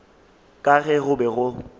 ka ge go be go